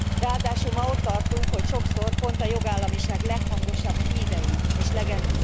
Ráadásul ma ott tartunk, hogy sokszor pont a jogállamiság leghangosabb hívei és legelszántabbak